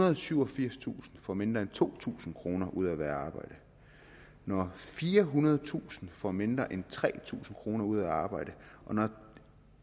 og syvogfirstusind får mindre end to tusind kroner mere ud af at være i arbejde når firehundredetusind får mindre end tre tusind kroner mere ud af at arbejde og når